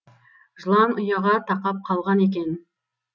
жылан ұяға тақап қалған екен